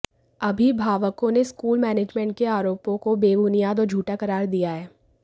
अभिभावकों ने school management के आरोपों को बेबुनियाद और झूठा करार दिया है